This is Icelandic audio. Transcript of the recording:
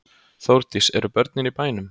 Þórdís: Eru börnin í bænum?